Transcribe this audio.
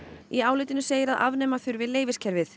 í álitinu segir að afnema þurfi